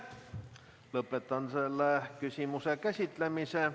Lõpetan selle küsimuse käsitlemise.